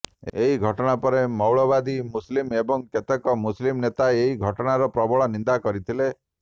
ଏହି ଘଟଣାପରେ ମ୘ାଳବାଦୀ ମୁସଲିମ ଏବଂ କେତେକ ମୁସଲିମ ନେତା ଏହି ଘଟଣାର ପ୍ରବଳ ନିନ୍ଦା କରିଥିଲେ